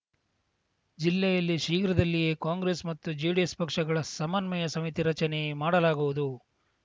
ಜಿಲ್ಲೆಯಲ್ಲಿ ಶೀಘ್ರದಲ್ಲಿಯೇ ಕಾಂಗ್ರೆಸ್‌ ಮತ್ತು ಜೆಡಿಎಸ್‌ ಪಕ್ಷಗಳ ಸಮನ್ವಯ ಸಮಿತಿ ರಚನೆ ಮಾಡಲಾಗುವುದು